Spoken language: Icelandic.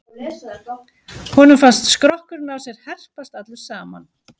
Honum fannst skrokkurinn á sér herpast allur saman.